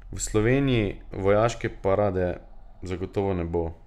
V Sloveniji vojaške parade zagotovo ne bo.